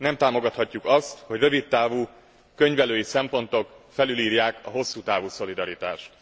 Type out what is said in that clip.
Nem támogathatjuk azt, hogy rövid távú könyvelői szempontok felülírják a hosszú távú szolidaritást.